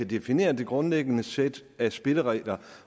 defineret et grundlæggende sæt af spilleregler